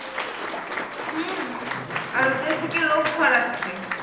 আর ওদের থেকে রোগ ছড়াচ্ছে